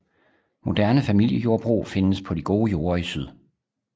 Moderne familiejordbrug findes på de gode jorder i syd